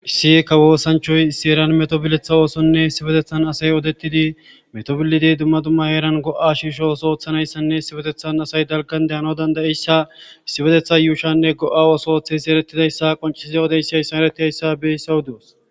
Issieka woosanchoy issi eran metobiletha oosonne issibetethan asay odettidi metobillidiy dumma dumma eeran go'a shiisho oso ooththanayssanne isipetethan asay dalgan dayano dandayeyssa issibetetha yuushanne go'a oso ooththes erettidayssa qonciize odeyssa issa eretiayssa beysawuduus.